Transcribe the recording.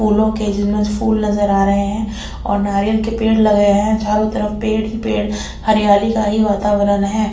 Full नज़र आ रहे है और नारियल के पेड़ लगे है चारो तरफ पेड़ ही पेड़ हरियाली का ही वातावरण है।